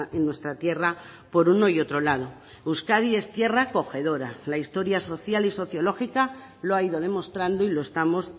en nuestra tierra por uno y otro lado euskadi es tierra acogedora la historia social y sociológica lo ha ido demostrando y lo estamos